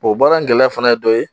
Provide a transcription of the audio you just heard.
O baara in gɛlɛya fana ye dɔ ye